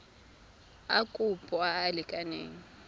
a kopo a a lekaneng